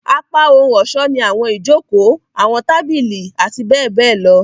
Apá ohun-ọṣọ ni awọn ijoko, awọn tabili, ati bẹbẹ lọ.